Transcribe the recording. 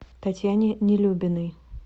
татьяне нелюбиной